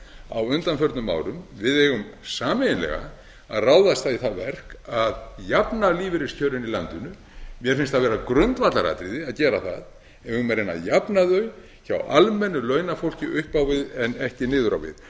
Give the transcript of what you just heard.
á undanförnum árum við eigum sameiginlega að ráðast í það verk að jafna lífeyriskjörin í landinu mér finnst það vera grundvallaratriði að gera það við eigum að reyna að jafna þau hjá almennu launafólki up á við en ekki niður á við